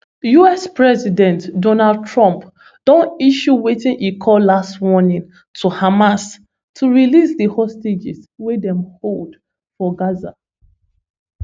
us president donald trump don issue wetin e call last warning to hamas to release di hostages wey dem hold for gaza